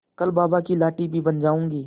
कल बाबा की लाठी भी बन जाऊंगी